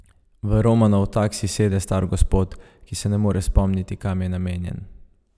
V Romanov taksi sede star gospod, ki se ne more spomniti, kam je namenjen.